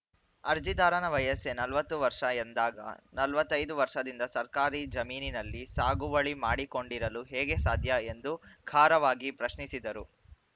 ಅರ್ಜಿದಾರನ ವಯಸ್ಸೇ ನಲವತ್ತು ವರ್ಷ ಎಂದಾಗ ನಲವತ್ತ್ ಐದು ವರ್ಷದಿಂದ ಸರ್ಕಾರಿ ಜಮೀನಿನಲ್ಲಿ ಸಾಗುವಳಿ ಮಾಡಿಕೊಂಡಿರಲು ಹೇಗೆ ಸಾಧ್ಯ ಎಂದು ಖಾರವಾಗಿ ಪ್ರಶ್ನಿಸಿದರು